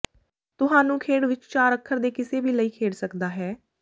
ਤੁਹਾਨੂੰ ਖੇਡ ਵਿੱਚ ਚਾਰ ਅੱਖਰ ਦੇ ਕਿਸੇ ਵੀ ਲਈ ਖੇਡ ਸਕਦਾ ਹੈ